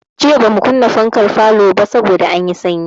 Jiya bamu kunna fankar falo ba saboda anyi sanyi.